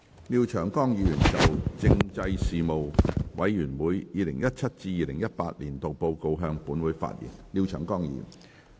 廖長江議員就"政制事務委員會 2017-2018 年度報告"向本會發言。